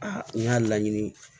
Aa n y'a laɲini